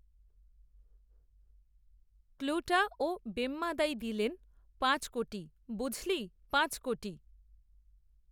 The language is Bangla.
ক্লূটা, ও বেম্মদাই দিলেন, পাঁচ কোটি, বুঝলি, পাঁচ কোটি